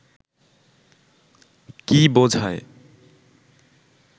কী বোঝায়